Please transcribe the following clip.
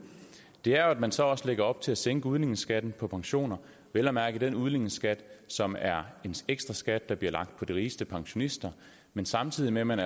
er at man så også lægger op til at sænke udligningsskatten på pensioner vel at mærke den udligningsskat som er en ekstra skat der bliver lagt på de rigeste pensionister men samtidig med at man